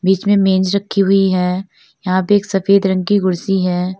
बीच में मेज रखी हुई है यहां पे एक सफेद रंग की कुर्सी है।